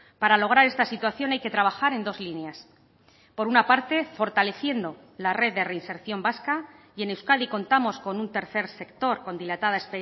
para lograr esta situación hay que trabajar en dos líneas por una parte fortaleciendo la red de reinserción vasca y en euskadi contamos con un tercer sector con dilatada